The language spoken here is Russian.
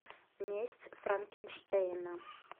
месть франкенштейна